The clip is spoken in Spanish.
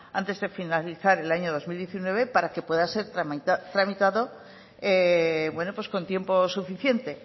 antes de finalizar el año dos mil diecinueve para que pueda ser tramitado con tiempo suficiente